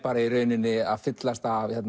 í rauninni að fyllast af